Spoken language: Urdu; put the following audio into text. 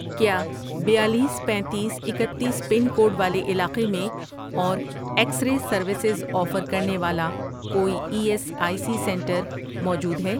کیا بیالیس، پینتیس، اکتیس، پن کوڈ والے علاقے میں اور ایکس رے سروسز آفر کرنے والا کوئی E S I C centre موجود ہے؟